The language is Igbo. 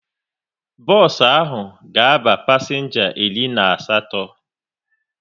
Bos ahụ ga aba pasenga iri na asatọ